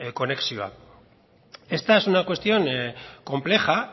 konexioa esta es una cuestión compleja